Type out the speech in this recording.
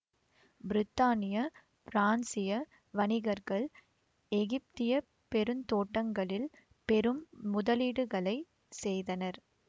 பிரித்தானிய பிரான்சிய வணிகர்கள் எகிப்திய பெருந்தோட்டங்களில் பெரும் முதலீடுகளைச் செய்தனர்